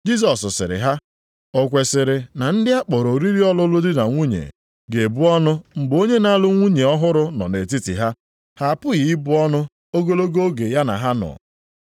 Jisọs sịrị ha, “O kwesiri na ndị a kpọrọ oriri ọlụlụ di na nwunye ga-ebu ọnụ mgbe onye na-alụ nwunye ọhụrụ nọ nʼetiti ha? Ha apụghị ibu ọnụ ogologo oge ya na ha nọ.